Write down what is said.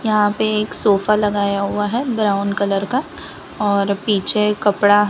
यहां पे एक सोफा लगाया हुआ है ब्राऊन कलर का और पीछे कपड़ा--